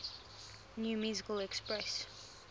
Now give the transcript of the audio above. new musical express